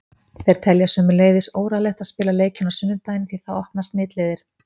Þeir telja sömuleiðis óráðlegt að spila leikinn á sunnudaginn því það opnar smitleiðir.